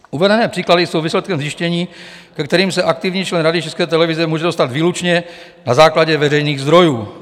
Uvedené příklady jsou výsledkem zjištění, ke kterým se aktivní člen Rady České televize může dostat výlučně na základě veřejných zdrojů.